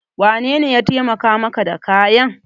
Wanene ya taimaka maka da kayan?